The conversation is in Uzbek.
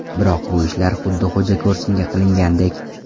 Biroq bu ishlar xuddi xo‘jako‘rsinga qilingandek.